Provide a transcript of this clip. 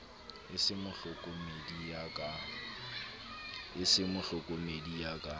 e se mohlokomedi ya ka